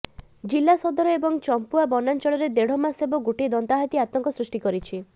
ଜିଲ୍ଲା ସଦର ଏବଂ ଚମ୍ପୁଆ ବନାଂଚଳରେ ଦେଢ ମାସ ହେବ ଗୋଟିଏ ଦନ୍ତାହାତୀ ଆତଙ୍କ ସୃଷ୍ଟି କରିଛି